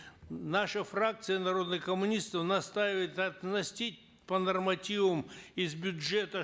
наша фракция народных коммунистов настаивает по нормативам из бюджета